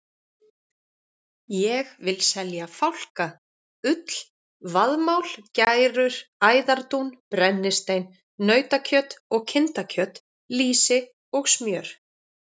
Ég vil selja fálka, ull, vaðmál, gærur, æðardún, brennistein, nautakjöt og kindakjöt, lýsi og smjör.